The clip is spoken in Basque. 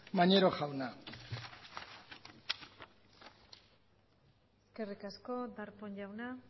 maneiro jauna eskerrik asko darpón jauna